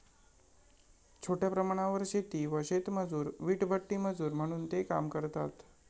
छोट्या प्रमाणावर शेती व शेतमजूर, वीटभट्टीमजूर म्हणून ते काम करतात.